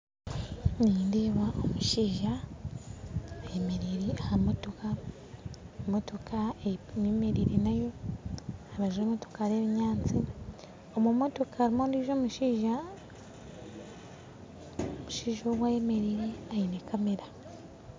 Nindeeba omushaija ayemerire aha motoka motoka eyemerire nayo aha rubaju rw'emotoka hariho ebiyansi omu motoka harimu ondiijo omushaija, omushaijq ogu ayemeriire aine kamera